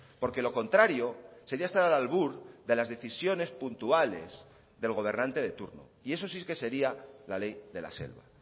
porque lo contrario sería estar al albur de las decisiones puntuales del gobernante de turno y eso sí que sería la ley de la selva